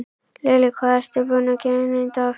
Lillý: Hvað ertu búinn að gera í dag?